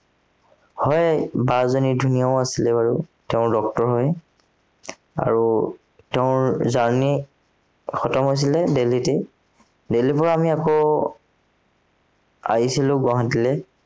হয়, বা জনী ধুনীয়াও আছিলে বাৰু। তেওঁ doctor হয়। আৰু, তেওঁৰ journey হৈছিলে দেলহিতেই। দেলহিৰ পৰা মই আকৌ আহিছিলো গুৱাহাটীলে।